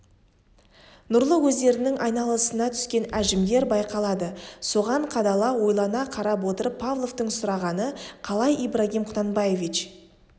нұрлы көздерінің айналасына түскен әжімдер байқалады соған қадала ойлана қарап отырып павловтың сұрағаны қалай ибрагим құнанбаевич